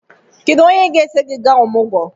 Kedu onye ga-eso gị gaa ọmụgwọ?